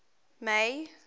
may